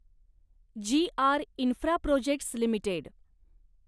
जी R Infraprojects limited